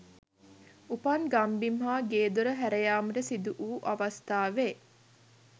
උපන් ගම්බිම් හා ගේ දොර හැරයාමට සිදුවූ අවස්ථාවේ